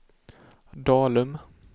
Dalum